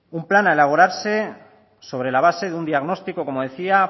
un plan a elaborarse sobre la base de un diagnóstico como decía